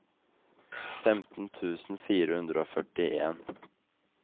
femten tusen fire hundre og førtien